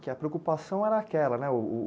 Que a preocupação era aquela, né? o...